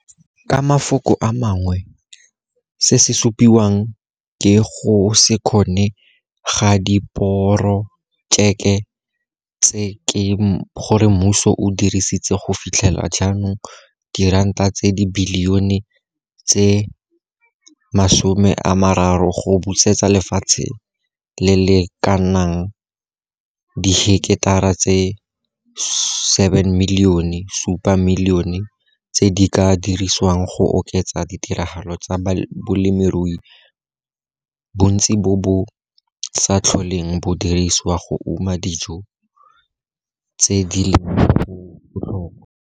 Ka mafoko a mangwe, se se supiwang ke go se kgone ga diporojeke tse ke gore mmuso o dirisitse go fitlhela jaanong diranata tsa dibilione tse 30 go busetsa lefatshe le le ka nnang diheketara tse 7 milione tse di ka dirisiwang go oketsa ditiragalo tsa bolemirui, bontsi bo bo sa tlholeng bo dirisiwa go uma dijo tse di leng botlhokwa."